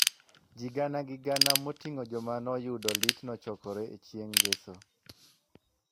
Ji gana gi gana moting'o joma noyudo lit nochokore e chieng’ ngeso